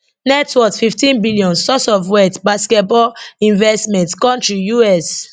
net worth fifteen billion source of wealth basketball investments country U.S